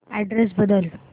address बदल